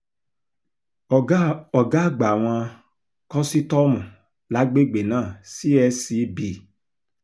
ọ̀gá àgbà àwọn kòsítọ́ọ̀mù lágbègbè náà csc b